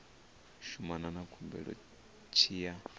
shumana na khumbelo tshi ya